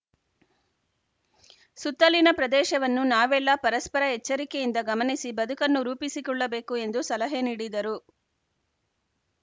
ಸುತ್ತಲಿನ ಪ್ರದೇಶವನ್ನು ನಾವೆಲ್ಲ ಪರಸ್ಪರ ಎಚ್ಚರಿಕೆಯಿಂದ ಗಮನಿಸಿ ಬದುಕನ್ನು ರೂಪಿಸಿಕೊಳ್ಳಬೇಕು ಎಂದು ಸಲಹೆ ನೀಡಿದರು